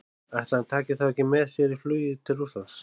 Ætli hann taki þá ekki með sér í flugið til Rússlands?